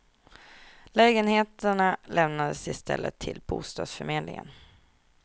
Lägenheterna lämnades i stället till bostadsförmedlingen.